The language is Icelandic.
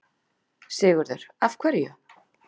Sigurður: Af hverju?